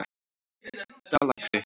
Dalakri